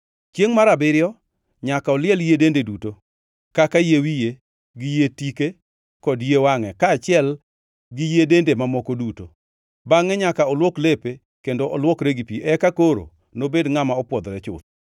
Chiengʼ mar abiriyo nyaka oliel yie dende duto kaka yie wiye, gi yie tike kod yie wangʼe, kaachiel gi yie dende mamoko duto. Bangʼe nyaka olwok lepe kendo olwokre gi pi, eka koro nobed ngʼama opwodhore chuth.